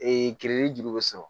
kirili jugu bɛ sɔrɔ